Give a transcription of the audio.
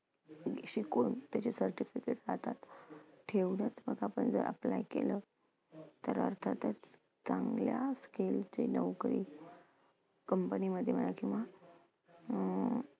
शिकून त्याचे certificates हातात ठेवण्यात आपण जर apply केलं तर अर्थातच चांगल्या skill चे नोकरी company मध्ये मिळेल किंवा अं